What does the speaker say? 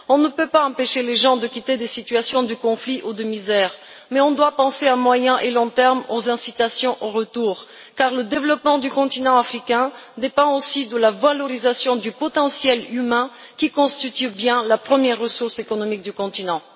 On ne peut pas empêcher les gens de quitter des situations de conflit ou de misère, mais on doit penser à moyen et à long termes aux incitations au retour, car le développement du continent africain dépend aussi de la valorisation du potentiel humain, qui constitue bien la première ressource économique du continent.